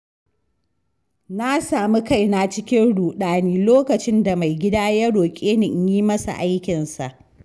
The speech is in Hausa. Na sami kaina cikin ruɗani lokacin da maigida ya roƙe ni in yi masa aikinsa.